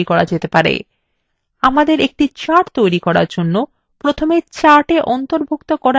আমাদের একটি chart তৈরি করার জন্য প্রথমে chart অন্তর্ভুক্ত করার জন্য তথ্য নির্বাচন করতে have